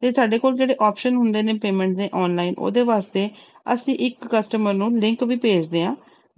ਤੇ ਸਾਡੇ ਕੋਲ ਜਿਹੜੇ option ਹੁੰਦੇ ਨੇ payment ਦੇ online ਉਹਦੇ ਵਾਸਤੇ ਅਸੀਂ ਇੱਕ customer ਨੂੰ link ਵੀ ਭੇਜਦੇ ਹਾਂ